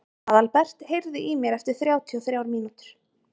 Aðalbert, heyrðu í mér eftir þrjátíu og þrjár mínútur.